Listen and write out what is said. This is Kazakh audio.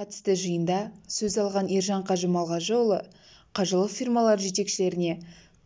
қатысты жиында сөз алған ержан қажы малғажыұлы қажылық фирмалары жетекшілеріне